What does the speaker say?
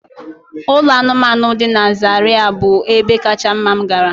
Ụlọ anụmanụ dị na Zariya bụ ebe kacha mma m gara.